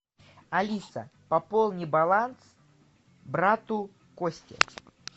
алиса пополни баланс брату косте